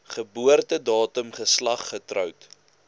geboortedatum geslag getroud